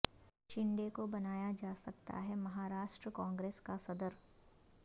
شنڈے کو بنایا جا سکتا ہے مہاراشٹر کانگریس کا صدر